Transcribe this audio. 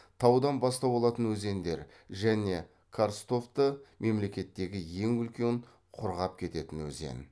таудан бастау алатын өзендер және карстовты мемлекеттегі ең үлкен құрғап кететін өзен